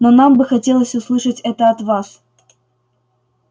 но нам бы хотелось услышать это от вас